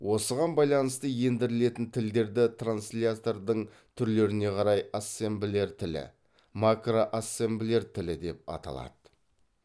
осыған байланысты ендірілетін тілдерді транцлятордың түрлеріне қарай ассемблер тілі макроассемблер тілі деп аталады